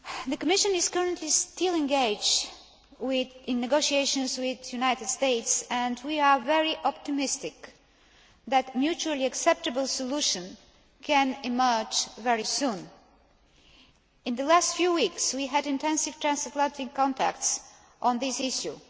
The Commission is currently still engaged in negotiations with the United States, and we are very optimistic that a mutually acceptable solution can emerge very soon. In the last few weeks we had intensive transatlantic contacts on this issue.